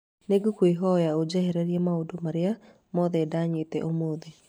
Nĩ ngũkũhoya ũnjehererie maũndũ marĩa mothe ndanyitĩe ũmũthĩ.